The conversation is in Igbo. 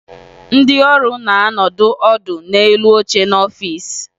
Ndị ọrụ na-anọ ọdụ n'elu oche n'ọfiisi